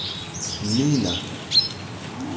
mmina